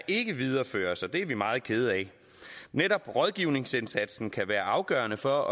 ikke videreføres og det er vi meget kede af netop rådgivningsindsatsen kan være afgørende for